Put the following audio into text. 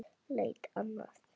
Leita annað?